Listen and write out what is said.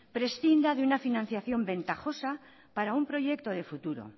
prescinda de una financiación ventajosa para un proyecto de futuro